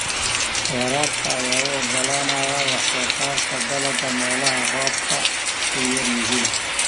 Waraabka ayaa u oggolaanaya wax-soo-saarka dalagga meelaha roobabku ku yar yihiin.